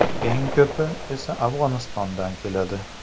Eng ko‘pi esa Afg‘onistondan keladi.